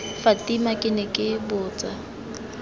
fatima ke ne ke botsa